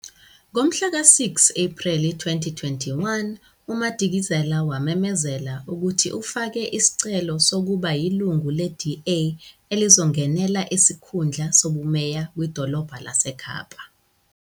Ngomhlaka-6 Ephreli 2021, uMadikizela wamemezela ukuthi ufake isicelo sokuba yilungu le-DA elizongenela isikhundla sobumeya kwiDolobha laseKapa.